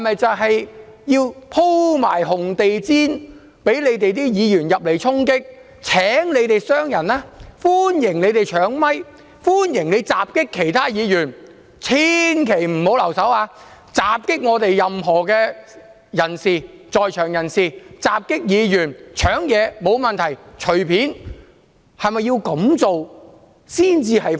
是否要鋪上紅地氈、讓反對派議員來衝擊、請他們傷害人、歡迎他們搶麥克風、歡迎他們襲擊其他議員、千萬不要留手，請襲擊任何在場人士或議員、即使搶東西也沒有問題，隨便去做。